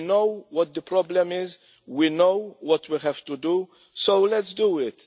We know what the problem is, we know what we have to do so, let us do it.